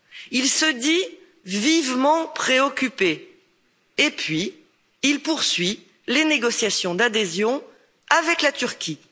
Il se dit vivement préoccupé, puis il poursuit les négociations d'adhésion avec la Turquie.